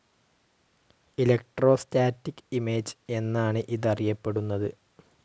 Electrostatic image എന്നാണ് ഇതറിയപ്പെടുന്നത്.